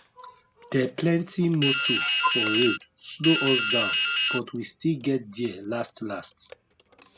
de plenti motor for road slow us down but we still get there last last